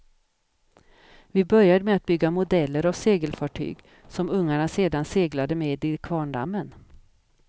Vi började med att bygga modeller av segelfartyg som ungarna sedan seglade med i kvarndammen.